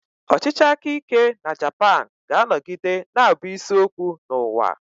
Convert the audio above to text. Ọchịchị aka ike na Japan ga-anọgide na-abụ isi okwu n'ụwa.